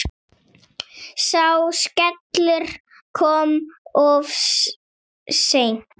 Sá skellur kom of seint.